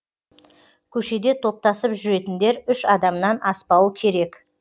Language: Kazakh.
көшеде топтасып жүретіндер үш адамнан аспауы керек